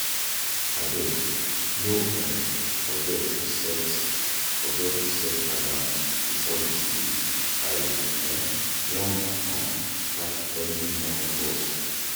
Abeg, no um forget to set forget to set alarm before you sleep, I um wan um catch early morning bus.